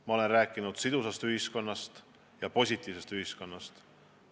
Ma olen rääkinud sidusast ühiskonnast ja positiivsest ühiskonnast.